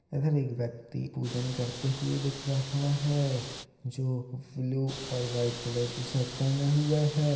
इधर एक व्यक्ति पूजन करते हुए दिख रहा है जो ब्लू और व्हाइट कलर के शर्ट पहन हुआ है।